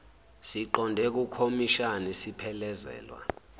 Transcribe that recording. siqonde kukhomishani siphelezelwa